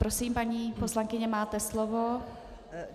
Prosím, paní poslankyně, máte slovo.